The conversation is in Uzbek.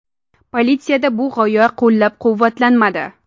Politsiyada bu g‘oya qo‘llab-quvvatlanmadi.